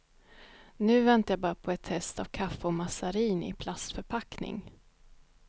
Nu väntar jag bara på ett test av kaffe och mazarin i plastförpackning.